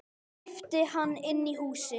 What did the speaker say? æpti hann inn í húsið.